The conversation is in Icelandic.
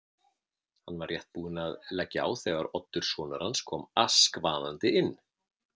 Hann var rétt búinn að leggja á þegar Oddur sonur hans kom askvaðandi inn.